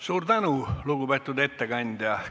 Suur tänu, lugupeetud ettekandja!